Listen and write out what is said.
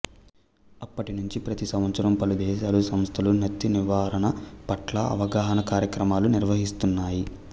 అప్పటి నుంచి ప్రతి సంవత్సరం పలు దేశాలు సంస్థలు నత్తి నివారణ పట్ల అవగాహనా కార్యక్రమాలు నిర్వహిస్తున్నాయి